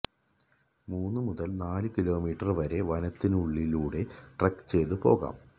മൂന്ന് മുതല് നാലു കിലോമീറ്റര് വരെ വനത്തിനുള്ളിലൂടെ ട്രെക്ക് ചെയ്ത് പോകാം